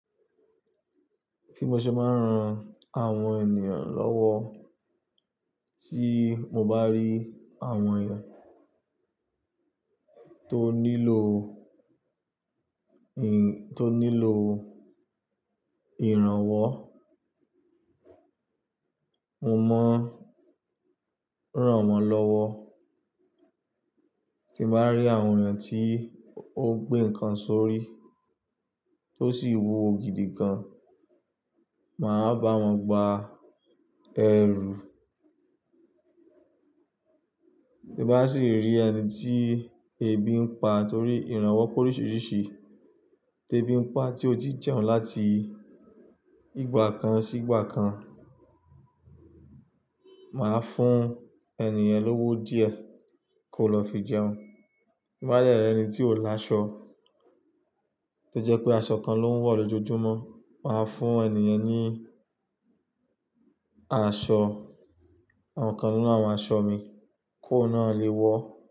Bi mo ṣe máa ń ran àwọn ènìyàn lọ́wọ́ tí mo bá rí àwọn n tó nílò ì- tó nílò ìrànwọ́, mo máa ń ràn wọ́n lọ́wọ́. Tí mo bá rí àwọn ènìyàn tí ó gbé nǹkan sórí tó sì wú wo gidi gan, màá bá wọn gba ẹrù. Tí bá sì rí ẹni tí ebi ń pa torí ìrànwọ́ pórísìírísìí tí ebi ń pa tí ó ti jẹun láti ìgbà kan sí ìgbà kan, màá fún ènìyẹn lówó díẹ̀ kó lọ fi jẹun. Bá dẹ ri ẹni tí ò láṣọ, tó jẹ́ pé aṣọ kan ló ń wọ̀ lójoojúmọ́, màá fún ènìyàn ní aṣọ, àwọn kan nínú àwọn aṣọ mi kó náà lé wọ.